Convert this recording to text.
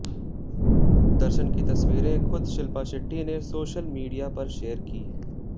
दर्शन की तस्वीरें खुद शिल्पा शेट्टी ने सोशल मीडिया पर शेयर की हैं